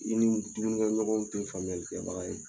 I ni dumunikɛɲɔgɔnw tɛ faamuyali kɛbaga ye